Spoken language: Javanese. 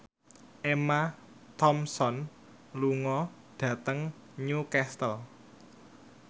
Emma Thompson lunga dhateng Newcastle